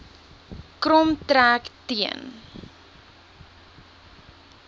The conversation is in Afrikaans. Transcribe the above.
krom trek teen